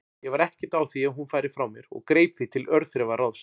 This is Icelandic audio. Ég var ekkert á því að hún færi frá mér og greip því til örþrifaráðs.